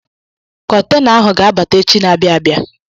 Kọtena ahụ ga-abata echi na-abịa abịa.